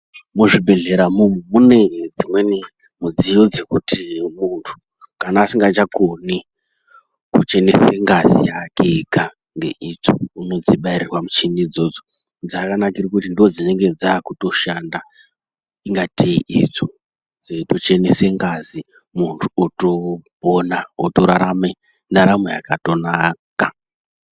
Muzvibhedhleya mune dzimweni midziyo dzekuti muntu kana asingachakoni kuchenese ngazi yake ega ngeitsvo unodzibairirwa michini idzodzo, dzakanakire kuti ndodzinenge dzakutoshanda ingatei itsvo dzeitochenese ngazi muntu otopona otorarame ndaramo yakatonaka.